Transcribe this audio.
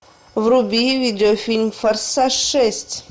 вруби видеофильм форсаж шесть